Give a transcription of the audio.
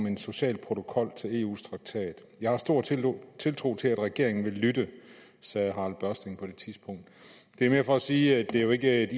en social protokol til eus traktat jeg har stor tiltro tiltro til at regeringen vil lytte sagde harald børsting på det tidspunkt det er mere for at sige at det jo ikke er et